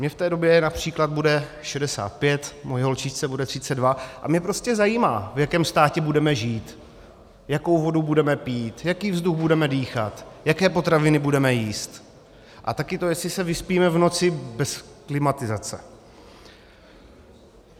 Mně v té době například bude 65, mojí holčičce bude 32 a mě prostě zajímá, v jakém státě budeme žít, jakou vodu budeme pít, jaký vzduch budeme dýchat, jaké potraviny budeme jíst, a také to, jestli se vyspíme v noci bez klimatizace.